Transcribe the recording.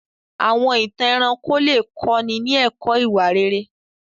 Àwọn ìtàn ẹranko lè kọ́ni ní ẹ̀kọ́ ìwà rere.